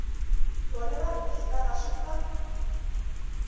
thoni na rhejisitara swi pfa